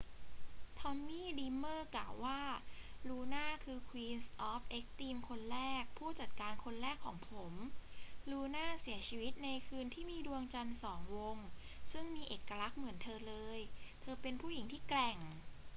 ทอมมี่ ดรีมเมอร์ กล่าวว่า ลูน่าคือ queen of extreme คนแรก ผู้จัดการคนแรกของผม ลูน่าเสียชีวิตในคืนที่มีดวงจันทร์สองวงซึ่งมีเอกลักษณ์เหมือนเธอเลย เธอเป็นผู้หญิงที่แกร่ง